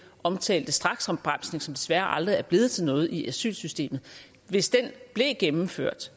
omtalte straksopbremsning som desværre aldrig er blevet til noget i asylsystemet hvis den blev gennemført